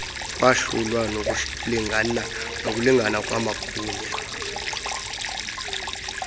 kwahlulwa nokulingana kwamagunya